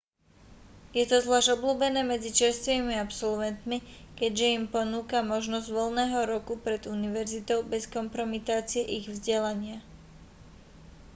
je to zvlásť obľúbené medzi čerstvými absolvetmi keďže im ponúka možnosť voľného roku pred univerzitou bez kompromitácie ich vzdelania